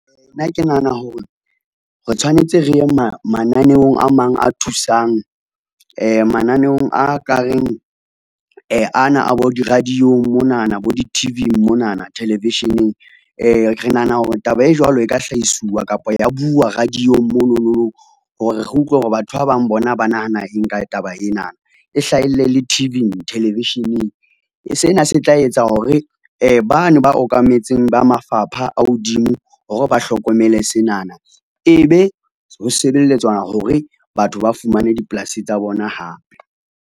Nna ke nahana hore, re tshwanetse re ye mananeong a ka reng ana a bo di-radio-ng monana, bo di-T_V monana, television-eng re nahana hore taba e jwalo e ka hlahiswa kapa ya buuwa radio-ng mononong hore, re utlwe hore batho ba bang bona ba nahana eng ka taba enana. E hlahelle le T_V-ng, television-eng sena se tla etsa hore bane ba okametseng ba mafapha a hodimo hore ba hlokomele senana, ebe ho sebeletswa hore batho ba fumane dipolasi tsa bona hape.